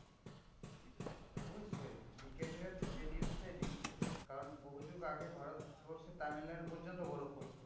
অবশ্যই বিজ্ঞানীরা তো সেই news টাই দিচ্ছে। কারণ বহু যুগ আগে ভারতবর্ষে তামিলনাড়ু পর্যন্ত বরফ পড়তো।